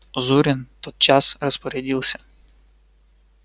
зурин тотчас распорядился